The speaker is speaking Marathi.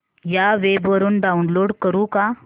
या वेब वरुन डाऊनलोड करू का